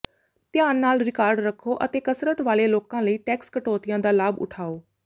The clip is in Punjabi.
ਧਿਆਨ ਨਾਲ ਰਿਕਾਰਡ ਰੱਖੋ ਅਤੇ ਕਸਰਤ ਵਾਲੇ ਲੋਕਾਂ ਲਈ ਟੈਕਸ ਕਟੌਤੀਆਂ ਦਾ ਲਾਭ ਉਠਾਓ